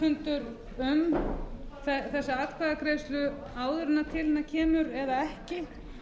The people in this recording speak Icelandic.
þingflokksformannafundur um þessa atkvæðagreiðslu áður en til hennar kemur eða ekki